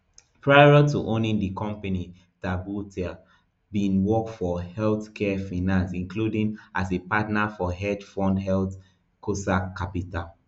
prior to owning di company tabuteau bin work for healthcare finance including as a partner for hedge fund healthcosac capital